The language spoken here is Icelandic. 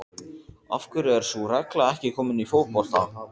Af hverju er sú regla ekki komin í fótbolta?